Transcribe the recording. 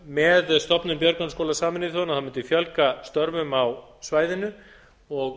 með stofnun björgunarskóla sameinuðu þjóðanna myndi fjölga störfum á svæðinu og